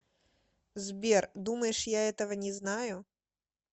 сбер думаешь я этого не знаю